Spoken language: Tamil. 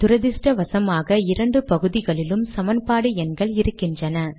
துரத்ருஷ்டவசமாக இரண்டு பகுதிகளிலும் சமன்பாடு எண்கள் இருக்கின்றன